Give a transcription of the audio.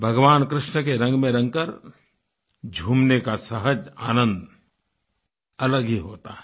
भगवान कृष्ण के रंग में रंगकर झूमने का सहज आनन्द अलग ही होता है